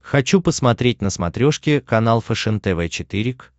хочу посмотреть на смотрешке канал фэшен тв четыре к